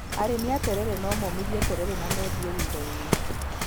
Arĩmi a terere no momithie terere na mendie thutha-inĩ.